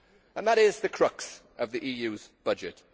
And that is the crux of the EU's budget.